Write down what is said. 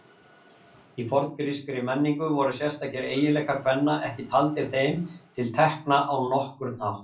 Í forngrískri menningu voru sérstakir eiginleikar kvenna ekki taldir þeim til tekna á nokkurn hátt.